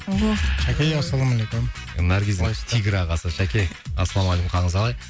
ооо шаке ассалаумалейкум наргиздің тигр ағасы шаке ассалаумалейкум қалыңыз қалай